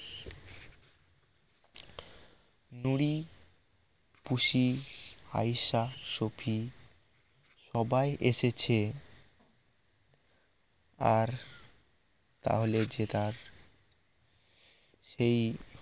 নুড়ি পুশি আইসা সখী সবাই এসেছে আর তাহলে যে তার সেই